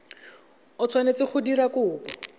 o tshwanetse go dira kopo